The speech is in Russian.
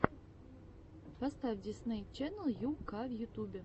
поставь дисней ченнел ю ка в ютубе